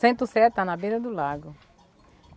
Centro-Sé está na beira do lago.